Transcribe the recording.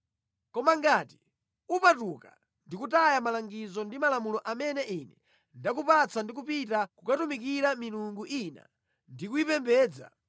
“Koma ngati iwe udzapatuka ndi kutaya malangizo ndi malamulo amene ndakupatsa ndi kupita kukatumikira milungu ina ndi kuyipembedza,